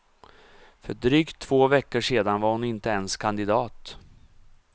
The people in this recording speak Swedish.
För drygt två veckor sedan var hon inte ens kandidat.